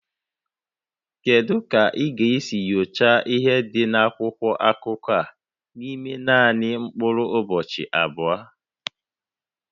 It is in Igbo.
Kedu ka ị ga-esi nyochaa ihé dị n'akwụkwọ akụkọ a n'ime naanị mkpụrụ ụbọchị abụọ?